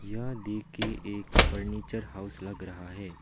यह देख के एक फर्नीचर हाउस लग रहा है।